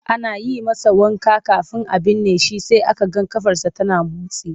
Ana yi masa wanka kafin a binne shi sai aka ga ƙafarsa tana motsi.